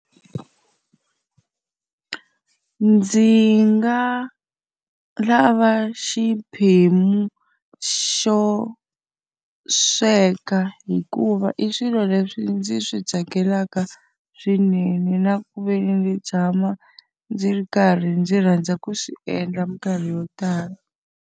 Ndzi nga lava xiphemu xo sweka hikuva i swilo leswi ndzi swi tsakelaka swinene, na ku ve ni ndzi tshama ndzi ri karhi ndzi rhandza ku swi endla minkarhi yo tala.